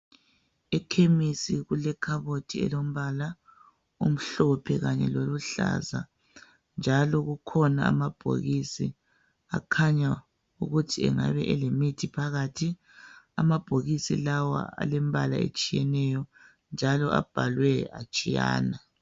Ekhemisi kulekhabothi elombala omhlophe kanye loluhlaza njalo kukhona amabhokisi akhanya ukuthi engabe elemithi phakathi .Amabhokisi lawa alembala etshiyeneyo njalo abhalwe atshiyana.